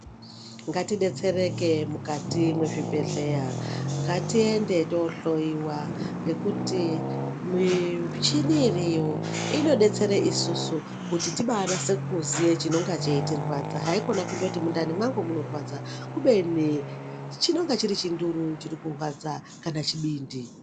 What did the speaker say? Ngatidetsereke mukati mwezvibhedhleya. Ngatiende tinohloyiwa ngekuti michini iriyo inodetsere isusu kuti tibanasekuziya chinenge cheitirwadza. Haikona kungoti mundani mwangu munorwadza kubeni chinonga chiri chinduru chiri kurwadza kana chibindi.